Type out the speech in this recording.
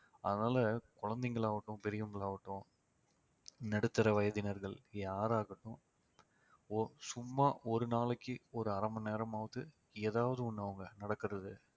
அதனால குழந்தைங்கள் ஆகட்டும் பெரியவங்களாகட்டும் நடுத்தர வயதினர்கள் யாராகட்டும் சும்மா ஒரு நாளைக்கு ஒரு அரை மணி நேரமாவது ஏதாவது ஒண்ணு அவங்க நடக்கிறது